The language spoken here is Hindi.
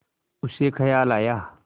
उसे ख़याल आया